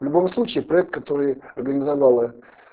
в любом случае проект который организовала